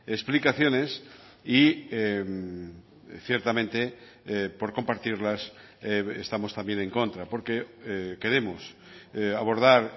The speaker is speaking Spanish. explicaciones y ciertamente por compartirlas estamos también en contra porque queremos abordar